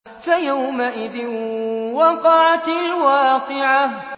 فَيَوْمَئِذٍ وَقَعَتِ الْوَاقِعَةُ